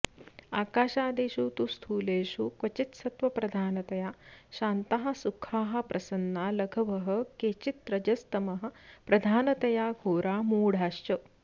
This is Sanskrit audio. आकाशादिषु तु स्थूलेषु क्वचित्सत्त्वप्रधानतया शान्ताः सुखाः प्रसन्ना लघवः केचिद्रजस्तमःप्रधानतया घोरा मूढाश्च